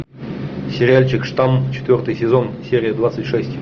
сериальчик штамм четвертый сезон серия двадцать шесть